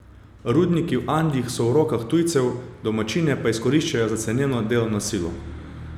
Rudniki v Andih so v rokah tujcev, domačine pa izkoriščajo za ceneno delovno silo.